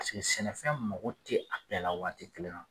sɛnɛfɛn mago tɛ a bɛɛ la waati kelen na